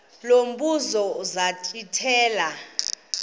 lo mbuzo zachithela